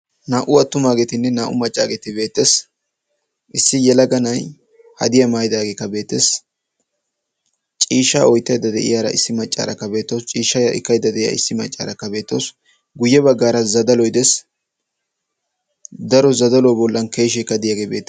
naa77u attumaageetinne naa77u maccaageeti beettees. issi yalaga na7ay hadiyaa maayidaageeka beetees. ciishshaa oyttaydda de7iyaara issi maccaarakka beettawusu. ciishshaa ekkaydda de7iyaa issi maccaarakka beettawusu. guyye baggaara zadaloy de7ees. daro zadalo bollan keesheekka diyaage beettees.